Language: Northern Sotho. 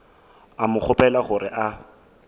a mo kgopela gore a